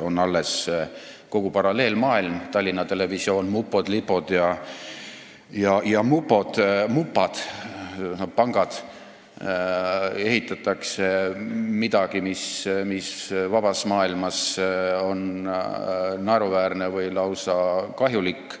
On alles kogu paralleelmaailm – Tallinna Televisioon, mupod, lipod ja mupad –, ehitatakse midagi, mis vabas maailmas on naeruväärne või lausa kahjulik,